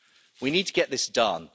We need to get this done.